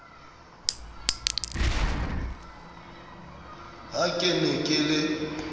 ha ke ne ke le